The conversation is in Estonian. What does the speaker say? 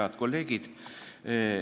Head kolleegid!